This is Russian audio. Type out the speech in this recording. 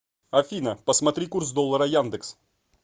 афина посмотри курс доллара яндекс